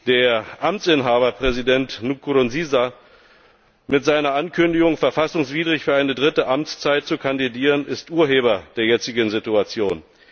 Der Amtsinhaber, Präsident Nkurunziza, ist mit seiner Ankündigung, verfassungswidrig für eine dritte Amtszeit zu kandidieren, Urheber der jetzigen Situation.